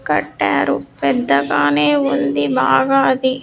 కట్టారు పెద్దగానే ఉంది బాగా అది.